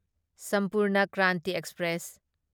Sampurna Kranti express